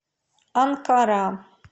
анкара